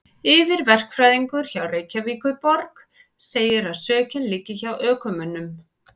Yfirverkfræðingur hjá Reykjavíkurborg segir að sökin liggi hjá ökumönnum.